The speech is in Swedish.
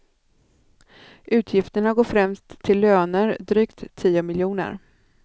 Utgifterna går främst till löner, drygt tio miljoner.